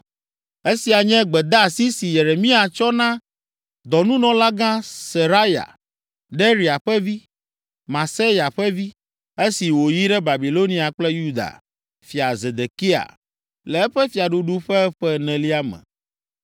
Esia nye gbedeasi si Yeremia tsɔ na dɔnunɔlagã Seraya, Neria ƒe vi, Mahseya ƒe vi, esi wòyi ɖe Babilonia kple Yuda fia Zedekia, le eƒe fiaɖuɖu ƒe ƒe enelia me.